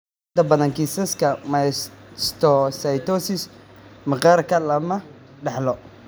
Inta badan kiisaska mastocytosis maqaarka lama dhaxlo.